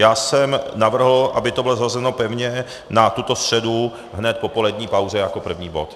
Já jsem navrhl, aby to bylo zařazeno pevně na tuto středu hned po polední pauze jako první bod.